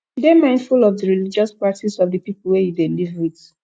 dey mindful of di religious practice of di people wey you dey live with